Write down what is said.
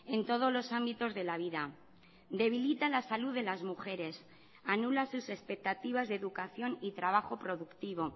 en todos los ámbitos de la vida debilita la salud de las mujeres anula sus expectativas de educación y trabajo productivo